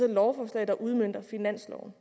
lovforslag der udmønter finansloven